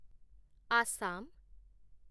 Assam